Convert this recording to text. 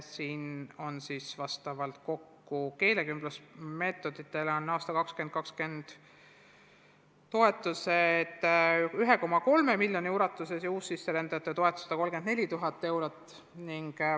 Keelekümblusmeetodite rakendamise toetus on aastal 2020 kokku 1,3 miljonit ja uussisserändajate toetus 134 000 eurot.